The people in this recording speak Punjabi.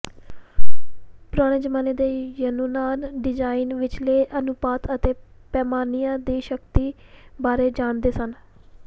ਪੁਰਾਣੇ ਜ਼ਮਾਨੇ ਦੇ ਯੂਨਾਨ ਡਿਜ਼ਾਇਨ ਵਿਚਲੇ ਅਨੁਪਾਤ ਅਤੇ ਪੈਮਾਨਿਆਂ ਦੀ ਸ਼ਕਤੀ ਬਾਰੇ ਜਾਣਦੇ ਸਨ